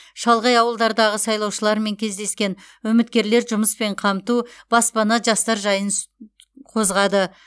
шалғай ауылдардағы сайлаушылармен кездескен үміткерлер жұмыспен қамту баспана жастар жайын с қозғады